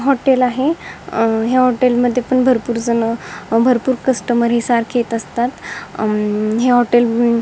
hotel आहे अ या हॉटेलमध्ये पण भरपूर जन भरपूर कस्टमर हे सारखे येत असतात अं हे हॉटेल --